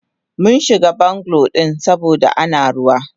Munshiga bungalow din saboda Ana ruwa.